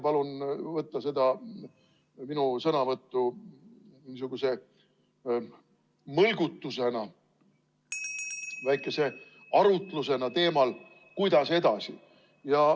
Palun võtta seda minu sõnavõttu niisuguse mõlgutusena, väikese arutlusena teemal, kuidas edasi.